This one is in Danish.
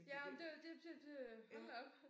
Ja ej men det var det det det øh hold da op